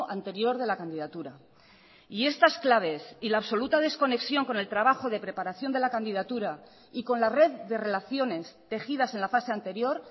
anterior de la candidatura y estas claves y la absoluta desconexión con el trabajo de preparación de la candidatura y con la red de relaciones tejidas en la fase anterior